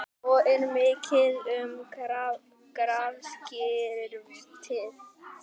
Svo er mikið um grafskriftir.